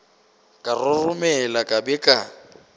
ka roromela ka be ka